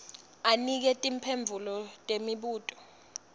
anike timphendvulo temibuto